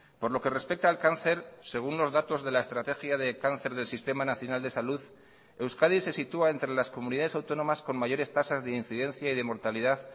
por lo que respecta al cáncer según los datos de la estrategia de cáncer del sistema nacional de salud euskadi se sitúa entre las comunidades autónomas con mayores tasas de incidencia y de mortalidad